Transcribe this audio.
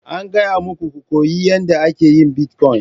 An gaya muku ku koyi yadda ake yin bitcoin!